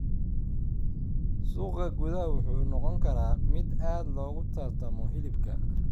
Suuqa gudaha wuxuu noqon karaa mid aad loogu tartamo hilibka.